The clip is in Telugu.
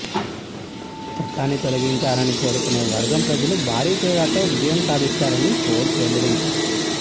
చట్టాన్ని తొలగించాలని కోరుకునే వర్గం ప్రజలు భారీ తేడాతో విజయం సాధిస్తారని పోల్స్ వెల్లడించాయి